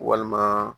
Walima